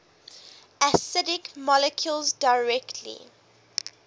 acidic molecules directly